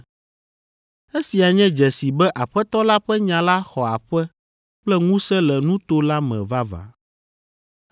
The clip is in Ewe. Esia nye dzesi be Aƒetɔ la ƒe nya la xɔ aƒe kple ŋusẽ le nuto la me vavã.